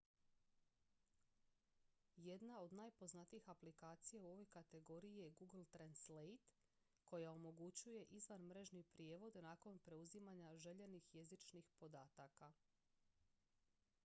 jedna od najpoznatijih aplikacija u ovoj kategoriji je google translate koja omogućuje izvanmrežni prijevod nakon preuzimanja željenih jezičnih podataka